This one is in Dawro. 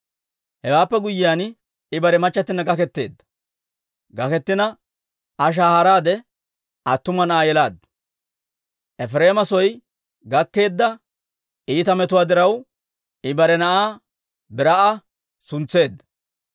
Hewaappe guyyiyaan, I bare machchattina gaketteedda; Iza shahaaraade attuma na'aa yelaaddu. Efireema soo gakkeedda iita metuwaa diraw, I bare na'aa Barii'a suntseedda.